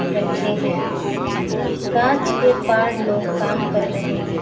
रखे हैं कांच के पार लोग काम कर रहे है।